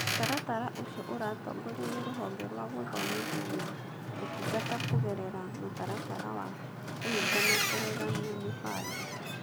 Mũtaratara ũcio ũratongorio nĩ Rũhonge rwa Gũthomithia na Ũtungata kũgerera Mũtaratara wa Kũhingia na Kũrũgamia Mĩbango.